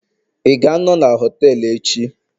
ị ga-anọ na họtelu echi?